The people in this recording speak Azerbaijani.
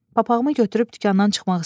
Papağımı götürüb dükandan çıxmaq istədim.